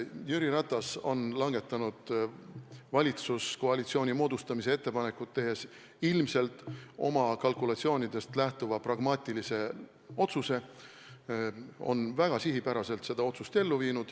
Jüri Ratas on langetanud valitsuskoalitsiooni moodustamise ettepanekut tehes ilmselt oma kalkulatsioonidest lähtuva pragmaatilise otsuse ja on väga sihipäraselt seda otsust ellu viinud.